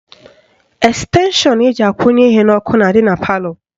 Estenshọn eji akwụnye ihe n'ọkụ na-adị na palọ